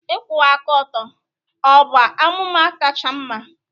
Ịkwụwa aka ọtọ ọ bụ amụma kacha mma?